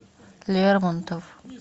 лермонтов